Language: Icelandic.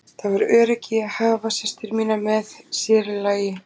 Það var öryggi í því að hafa systur mínar með, sér í lagi